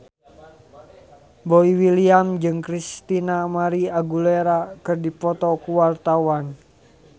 Boy William jeung Christina María Aguilera keur dipoto ku wartawan